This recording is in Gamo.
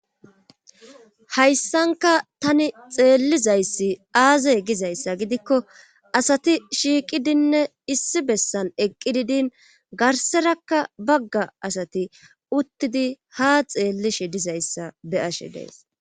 hayssanka tani xeellizayssi aazr gizayssa gidikko asati shiiqidinne issi bessan eqqi didin garserakka bagga asati uttidi ha xeellishe dizayssa be'ashe days